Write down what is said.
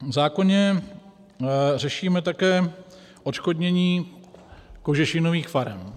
V zákoně řešíme také odškodnění kožešinových farem.